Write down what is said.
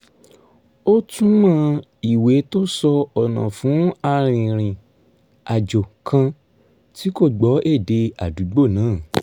ó túmọ̀ ìwé tó sọ ọ̀nà fún arìnrìn-àjò kan tí kò gbọ́ èdè àdúgbò náà